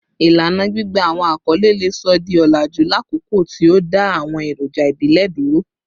Ilana gbigba awọn akọle le sọ di olaju lakoko ti o da awọn eroja ibile duro